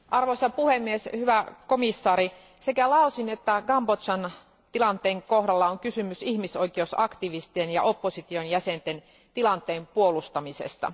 Arvoisa puhemies, hyvä komission jäsen, sekä Laosin että Kambodžan tilanteen kohdalla on kysymys ihmisoikeusaktivistien ja opposition jäsenten tilanteen puolustamisesta.